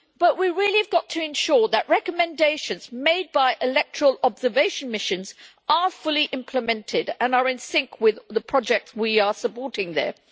We really have to ensure that recommendations made by electoral observation missions are fully implemented and are in sync with the project we are supporting there.